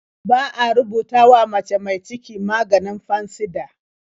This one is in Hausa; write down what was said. Ba a rubutawa mace mi ciki maganin Fansidar.